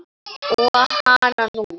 Og hananú!